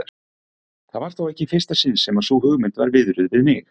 Það var þó ekki í fyrsta sinn sem sú hugmynd var viðruð við mig.